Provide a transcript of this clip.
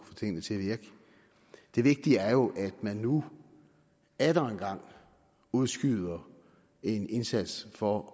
få tingene til at virke det vigtige er jo at man nu atter engang udskyder en indsats for